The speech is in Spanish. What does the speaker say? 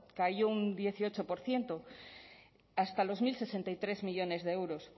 cayó un dieciocho por ciento hasta los mil sesenta y tres millónes de euros